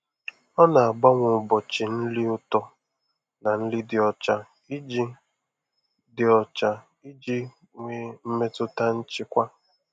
Ọ na-agbanwe ụbọchị nri ụtọ na nri dị ọcha iji dị ọcha iji nwee mmetụta nchịkwa.